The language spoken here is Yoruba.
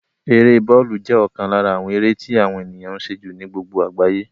Eré bọ́lù jẹ́ ọ̀kan lára àwọn eré tí àwọn ènìyàn ń ṣe jù ní gbogbo àgbáyé